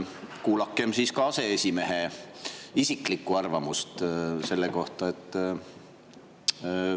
Kuulakem siis ka aseesimehe isiklikku arvamust selle kohta!